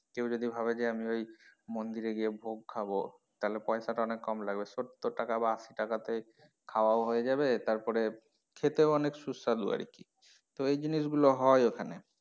কেউ যদি ভাবে যে আমি ওই মন্দিরে গিয়ে ভোগ খাবো তাহলে পয়সা টা অনেক কম লাগবে সত্তর টাকা বা আশি টাকা তেই খাওয়াও হয়ে যাবে তারপরে খেতেও অনেক সুস্বাদু আরকি তো এই জিনিস গুলো হয় ওখানে।